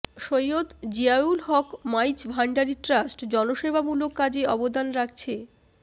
Syed Ziaul Haque Maizbhandari trust জনসেবামূলক কাজে অবদান রাখছে